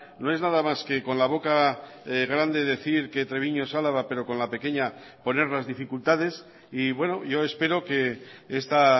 no es nada más que con la boca grande decir que treviño es álava pero con la pequeña poner las dificultades y bueno yo espero que esta